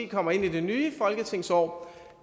kommer ind i det nye folketingsår